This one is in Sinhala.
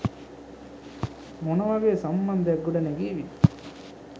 මොන වගේ සම්බන්ධයක් ගොඩනැගේවිද?